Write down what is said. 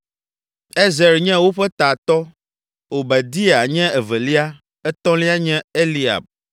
Ezer nye woƒe tatɔ, Obadia nye evelia, etɔlia nye Eliab.